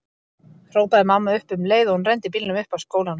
hrópaði mamma upp um leið og hún renndi bílnum upp að skólanum.